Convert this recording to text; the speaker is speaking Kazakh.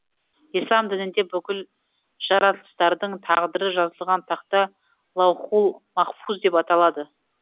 ислам дінінде бүкіл жаратылыстардың тағдыры жазылған тақта лаухул махфуз деп аталады